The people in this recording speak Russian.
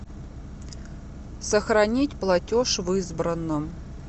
сохранить платеж в избранном